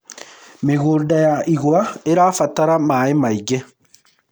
mĩgũnda ya igwa irabatara maĩ maĩngi